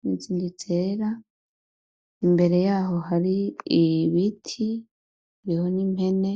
n'izindi zera, imbere yaho har'ibiti, hariho n'impene.